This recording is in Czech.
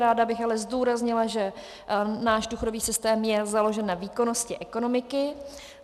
Ráda bych ale zdůraznila, že náš důchodový systém je založen na výkonnosti ekonomiky.